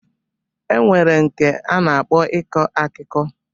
E nwere nke a na-akpọ iku akuko.